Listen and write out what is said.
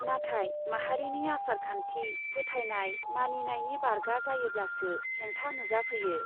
नाथाय माहारिनि आसारखान्थि , फोथायनाय , मानिनायनि बारगा जायोब्लासो हेंथा नुजाफैयो ।